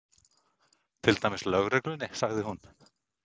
Til dæmis lögreglunni, sagði hún.